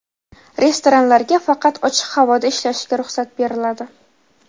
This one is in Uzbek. Restoranlarga faqat ochiq havoda ishlashiga ruxsat beriladi.